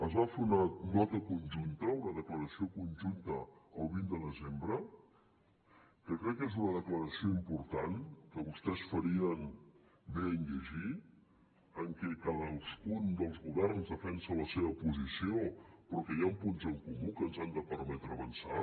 es va fer una nota conjunta una declaració conjunta el vint de desembre que crec que és una declaració important que vostès farien bé de llegir en què cadascun dels governs defensa la seva posició però que hi ha punts en comú que ens han de permetre avançar